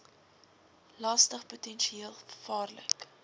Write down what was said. lastig potensieel gevaarlik